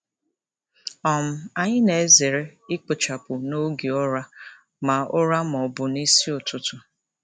um Anyị na-ezere ikpochapụ n'oge ụra ma ụra ma ọ bụ n'isi ụtụtụ.